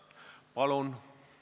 Palun!